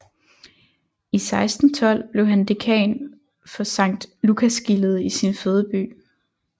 I 1612 blev han dekan for Sankt Lukasgildet i sin fødeby